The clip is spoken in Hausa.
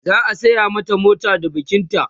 za'a saya mata mota da bikin ta